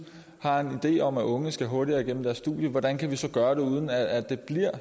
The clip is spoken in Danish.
har en idé om at unge skal hurtigere igennem deres studie hvordan kan vi så gøre det uden at det